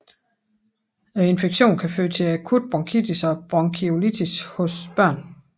Infektionen kan føre til akut bronkitis og bronkiolitis hos børn